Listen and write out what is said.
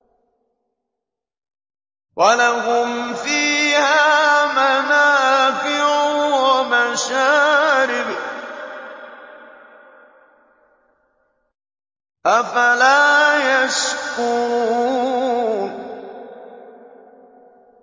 وَلَهُمْ فِيهَا مَنَافِعُ وَمَشَارِبُ ۖ أَفَلَا يَشْكُرُونَ